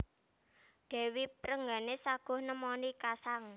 Dèwi Rengganis saguh nemoni kasang